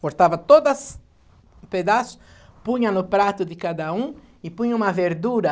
Cortava todas pedaço, punha no prato de cada um e punha uma verdura.